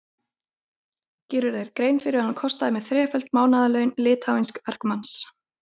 Gerirðu þér grein fyrir að hann kostaði mig þreföld mánaðarlaun litháísks verkamanns?